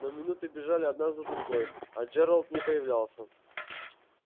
но минуты бежали одна за другой а джералд не появлялся